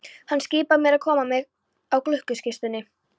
Hann skipaði mér að koma mér úr gluggakistunni.